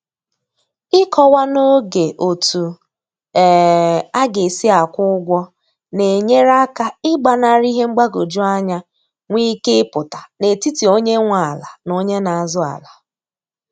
Ịkọwa n'oge otu um a ga-esi akwụ ụgwọ na-enyere aka ị gbanarị ihe mgbagwoju anya nwe ike ịpụta n'etiti onye nwe ala na onye na azụ ala